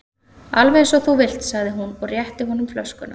Alveg eins og þú vilt sagði hún og rétti honum flöskuna.